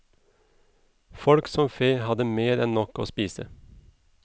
Folk som fe hadde mer enn nok å spise.